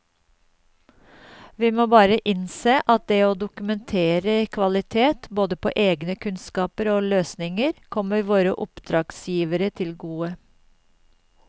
Vi må bare innse at det å dokumentere kvalitet både på egne kunnskaper og løsninger kommer våre oppdragsgivere til gode.